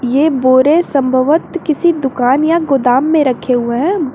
ये बोरे संभवत किसी दुकान या गोदाम में रखे हुए हैं।